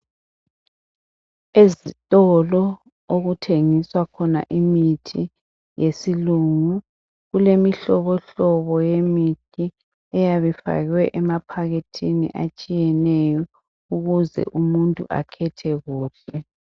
Ezitolo okuthengiswa khona imithi yesilungu kulemihlobo hlobo yemithi etshiyeneyo eyabe ifakwe emaphakethini atshiyeneyo ukuze umuntu akhethe kuhle